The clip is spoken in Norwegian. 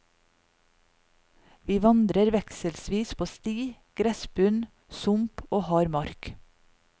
Vi vandrer vekselvis på sti, gressbunn, sump og hard mark.